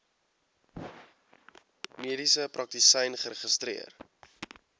mediese praktisyn geregistreer